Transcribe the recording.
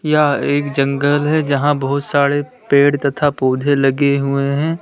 यह एक जंगल है जहां बहुत सारे पेड़ तथा पौधे लगे हुए हैं।